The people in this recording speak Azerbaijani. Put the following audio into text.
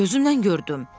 Axı gözümlə gördüm.